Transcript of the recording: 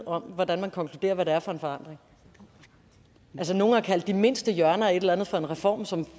om hvordan man konkluderer hvad det er for en forandring altså nogle har kaldt de mindste hjørner af et eller andet for en reform som